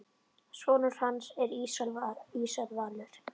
Sonur hans er Ísar Valur.